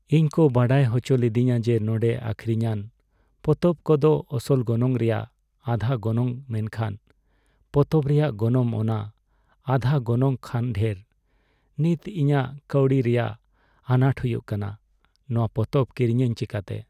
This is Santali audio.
ᱤᱧ ᱠᱚ ᱵᱟᱰᱟᱭ ᱦᱚᱪᱚ ᱞᱤᱫᱤᱧᱟ ᱡᱮ ᱱᱚᱰᱮᱸ ᱟᱹᱠᱷᱨᱤᱧᱟᱱ ᱯᱚᱛᱚᱵ ᱠᱚᱫᱚ ᱟᱥᱚᱞ ᱜᱚᱱᱚᱝ ᱨᱮᱭᱟᱜ ᱟᱫᱷᱟ ᱜᱚᱱᱚᱝ ᱢᱮᱱᱠᱷᱟᱱ ᱱᱚᱶᱟ ᱯᱚᱛᱚᱵ ᱨᱮᱭᱟᱜ ᱜᱚᱱᱚᱝ ᱚᱱᱟ ᱟᱫᱷᱟ ᱜᱚᱱᱚᱝ ᱠᱷᱚᱱ ᱰᱷᱮᱨ ᱾ ᱱᱤᱛ ᱤᱧᱟᱜ ᱠᱟᱹᱣᱰᱤ ᱨᱮᱱᱟᱜ ᱟᱱᱟᱴ ᱦᱩᱭᱩᱜ ᱠᱟᱱᱟ, ᱱᱚᱶᱟ ᱯᱚᱛᱚᱵ ᱠᱤᱨᱤᱧᱟᱧ ᱪᱤᱠᱟᱛᱮ ?